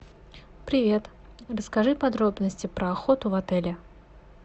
привет расскажи подробности про охоту в отеле